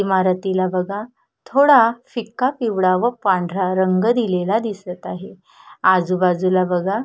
इमारतीला बघा थोडा फिका पिवळा व पांढरा रंग दिलेला दिसत आहे आजूबाजूला बघा.